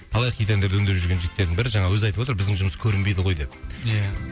талай хит әндерді өңдеп жүрген жігіттердің бірі жаңағы өзі айтып отыр біздің жұмыс көрінбейді ғой деп ия